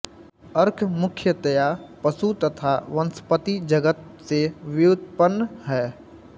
अर्क मुख्यतया पशु तथा वनस्पति जगत् से व्युत्पन्न हैं